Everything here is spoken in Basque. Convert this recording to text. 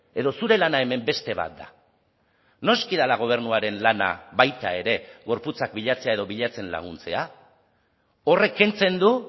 edo zure lana hemen beste bat da noski dela gobernuaren lana baita ere gorputzak bilatzea edo bilatzen laguntzea horrek kentzen du